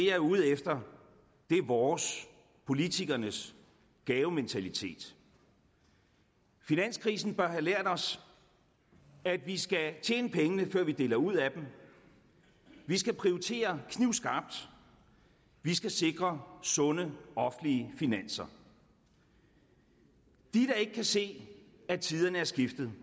er ude efter er vores politikernes gavementalitet finanskrisen bør have lært os at vi skal tjene pengene før vi deler ud af dem vi skal prioritere knivskarpt vi skal sikre sunde offentlige finanser de der ikke kan se at tiderne er skiftet